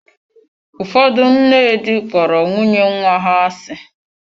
Ụfọdụ nne di kpọrọ nwunye nwa ha asị.